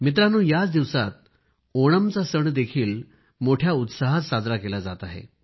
मित्रांनो या दिवसात ओणमचा सणही मोठ्या उत्साहात साजरा केला जात आहे